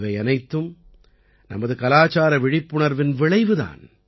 இவையனைத்தும் நமது கலாச்சார விழிப்புணர்வின் விளைவு தான்